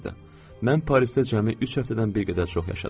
Mən Parisdə cəmi üç həftədən bir qədər çox yaşadım.